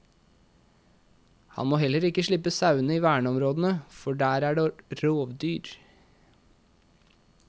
Han må heller ikke slippe sauene i verneområdene, for der er det rovdyr.